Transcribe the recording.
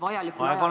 Aeg on läbi!